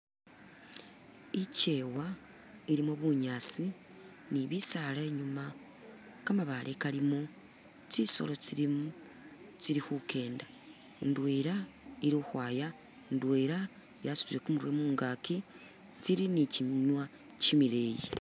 Ikyewa, ilimo bunyaasi ni bisaala inyuma ka mabaale kalimo tsisolo tsilimo tsili khukyenda, indwela ili ukhwaya indwela yasutile kumurwe mungakyi, tsili ni kyiminwa kyimileeyi